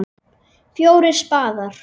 FJÓRIR spaðar.